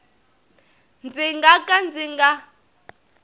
ndzi nga ka ndzi nga